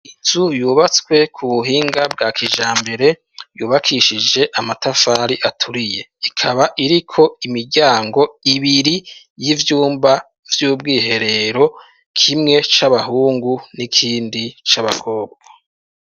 Inzu yubatswe ku buhinga bwa kijambere ,yubakishije amatafari aturiye, ikaba iriko imiryango ibiri y'ivyumba vy'ubwiherero kimwe c'abahungu n'ikindi c'abakobwa.